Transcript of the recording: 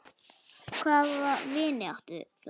Hvaða vini áttu þær?